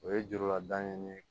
O ye jurula dan ye nin ye